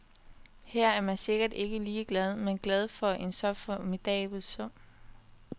Her er man sikkert ikke ligeglad, men glad for en så formidabel sum.